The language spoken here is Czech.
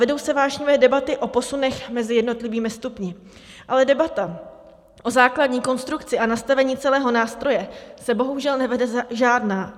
Vedou se vášnivé debaty o posunech mezi jednotlivými stupni, ale debata o základní konstrukci a nastavení celého nástroje se bohužel nevede žádná.